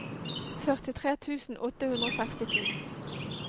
førtitre tusen åtte hundre og sekstito